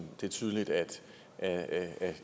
det er tydeligt at at